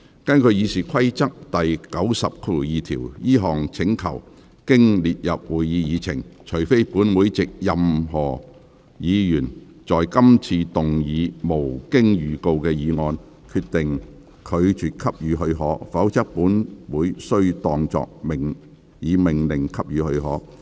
根據《議事規則》第902條，這項請求經列入會議議程，除非本會藉任何議員在今次會議動議無經預告的議案，決定拒絕給予許可，否則本會須當作已命令給予許可。